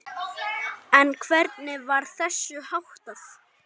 En hvernig var þessu háttað?